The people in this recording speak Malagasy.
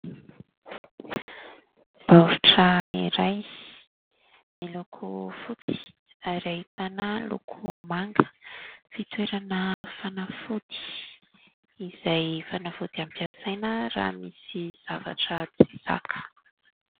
Baoritra iray miloko fotsy ary ahitana loko manga fitoerana fanafody izay fanafody ampiasaina raha misy zavatra tsy zaka.